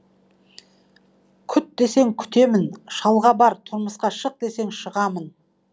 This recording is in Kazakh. күт десең күтемін шалға бар тұрмысқа шық десең шығамын